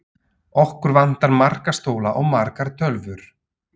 Okkur vantar marga stóla og margar tölvur.